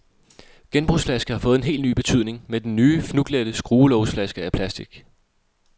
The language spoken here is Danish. Genbrugsflaske har fået en helt ny betydning med den nye, fnuglette, skruelågsflaske af plastic.